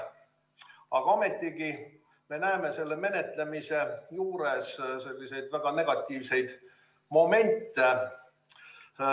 Aga ometigi me näeme selle menetlemise juures väga negatiivseid momente.